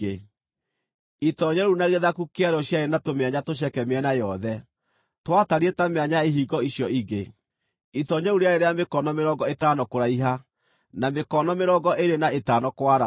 Itoonyero rĩu na gĩthaku kĩarĩo ciarĩ na tũmĩanya tũceke mĩena yothe, twatariĩ ta mĩanya ya ihingo icio ingĩ. Itoonyero rĩu rĩarĩ rĩa mĩkono mĩrongo ĩtano kũraiha, na mĩkono mĩrongo ĩĩrĩ na ĩtano kwarama.